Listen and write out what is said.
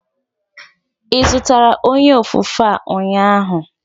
Ị zụtara onye ofufe a ụnyaahụ?